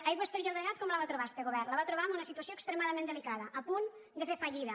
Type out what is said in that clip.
aigües ter llobregat com la va trobar este govern la va trobar en una situació extremadament delicada a punt de fer fallida